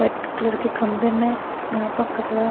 white colour के खम्भे में यहाँ पर कचड़ा--